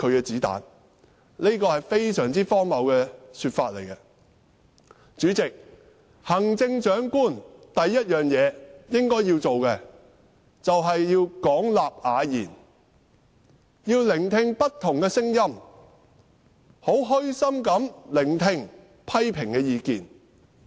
這是非常荒謬的說法。主席，行政長官首要做的事應是廣納雅言，聆聽不同的聲音，虛心地聆聽批評的意見。